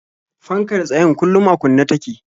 Fankar tsayen kullum a kunne take.